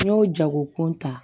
N'i y'o jagokun ta